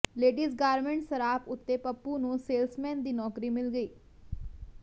ladies garments ਸਰਾਪ ਉੱਤੇ ਪੱਪੂ ਨੂੰ ਸੇਲਸਮੇਨ ਦੀ ਨੌਕਰੀ ਮਿਲ ਗਈ